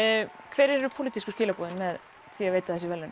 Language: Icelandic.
hver eru pólitísku skilaboðin með því að veita þessi verðlaun